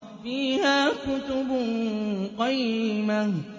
فِيهَا كُتُبٌ قَيِّمَةٌ